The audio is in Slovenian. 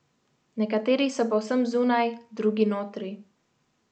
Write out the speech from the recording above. Nekateri so povsem zunaj, drugi notri.